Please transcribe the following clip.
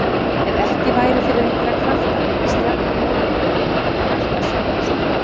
Ef ekki væri fyrir einhverja krafta myndi stjarnan óhjákvæmilega hætta að sveiflast.